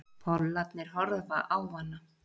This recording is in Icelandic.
Pollarnir horfa á hana.